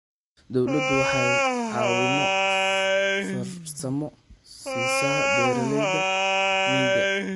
Dawladdu waxay caawimo farsamo siisaa beeralayda miyiga.